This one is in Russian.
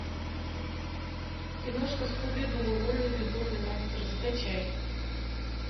киношка скуби ду лунный безумный монстр закачай